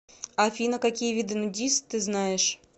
афина какие виды нудист ты знаешь